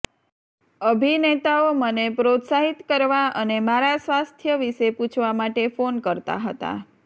અભિનેતાઓ મને પ્રોત્સાહિત કરવા અને મારા સ્વાસ્થ્ય વિશે પૂછવા માટે ફોન કરતા હતા